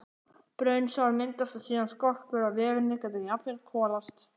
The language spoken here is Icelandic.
Brunasár myndast og síðan skorpur og vefirnir geta jafnvel kolast.